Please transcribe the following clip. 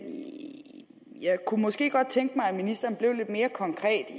jeg kunne måske godt tænke mig at ministeren blev lidt mere konkret